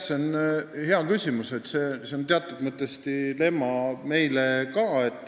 See on hea küsimus ja teatud mõttes dilemma ka meile.